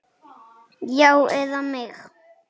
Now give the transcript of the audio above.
Þau glottu bæði.